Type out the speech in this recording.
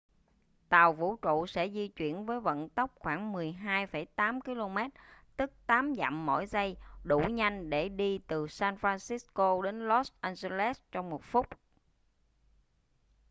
tàu vũ trụ sẽ di chuyển với vận tốc khoảng 12,8 km tức 8 dặm mỗi giây đủ nhanh để đi từ san francisco đến los angeles trong một phút